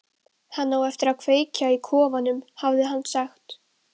Hann á eftir að kveikja í kofanum, hafði hann sagt.